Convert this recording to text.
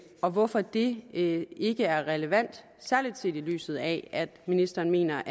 og hvorfor det ikke ikke er relevant særlig set i lyset af at ministeren mener